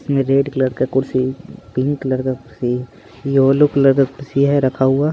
इसमें red colour का कुर्सी पिंक कलर का कुर्सी येलो कलर का कुर्सी है रखा हुआ।